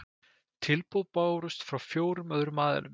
Tilboð bárust frá fjórum öðrum aðilum